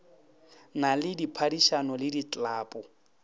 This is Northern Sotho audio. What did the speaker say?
na le diphadišano le diklapo